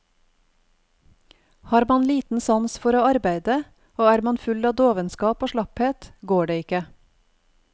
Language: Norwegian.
Har man liten sans for å arbeide, og er man full av dovenskap og slapphet, går det ikke.